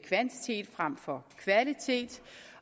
kvantitet frem for kvalitet